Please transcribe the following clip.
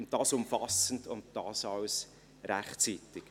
Und dies umfassend, und dies alles rechtzeitig.